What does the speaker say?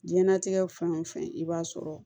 Diɲɛnnatigɛ fɛn o fɛn i b'a sɔrɔ